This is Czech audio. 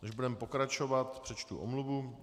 Než budeme pokračovat, přečtu omluvu.